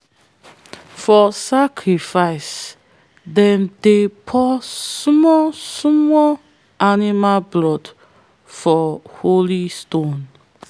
for sacrifice them dey pour small small animal blood for holy stone.